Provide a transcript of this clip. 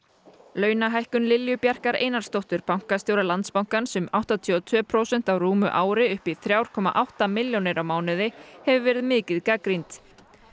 launahækkun Lilju Bjarkar Einarsdóttur bankastjóra Landsbankans um áttatíu og tvö prósent á rúmu ári upp í þrjú komma átta milljónir á mánuði hefur verið mikið gagnrýnd